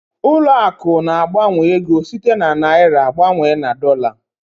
Ụlọ akụ̀ na-agbanwe ego site na naịra gbanwee na dọla.